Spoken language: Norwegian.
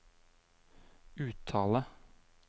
uttale